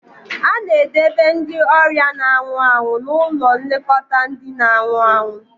A na-edobe ndị ọrịa na-anwụ anwụ n'ụlọ nlekọta ndị na-anwụ anwụ